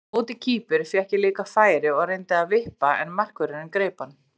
Á móti Kýpur fékk ég líka færi og reyndi að vippa en markvörðurinn greip hann.